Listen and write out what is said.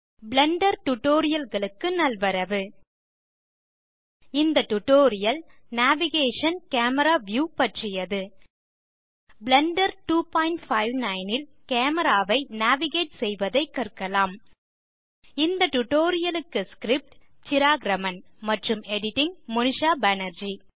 Blender Tutorialகளுக்கு நல்வரவு இந்த டியூட்டோரியல் நேவிகேஷன் - கேமரா வியூ ஐ பற்றியது பிளெண்டர் 259 ல் கேமரா ஐ நேவிகேட் செய்வதைக் கற்கலாம் இந்த டியூட்டோரியல் க்கு script160 சிராக் ராமன் மற்றும் editing160 மோனிஷா பேனர்ஜி